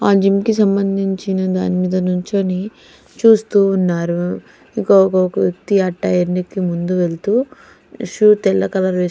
ఆ జిం కి సంబందించిన దాని మీద నిల్చొని చూస్తూ ఉన్నారు ఒక ఒక వ్యక్తి ఆ ముందు వెళ్తూ షూ తెల్ల కలర్ వేసుకొ --